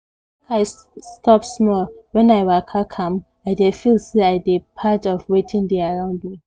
make i stop small when i waka calm i dey feel say i dey part of wetin dey around me